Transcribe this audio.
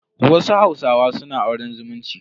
Wasu hausawa suna auren zumunci.